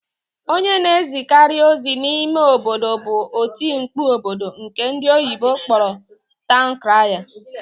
Onye na-ezikarị ozi n'ime obodo bụ otimkpu obodo nke ndị oyibo kpọrọ taụn kraya.